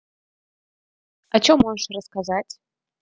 а что можешь рассказать